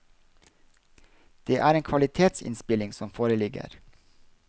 Det er en kvalitetsinnspilling som foreligger.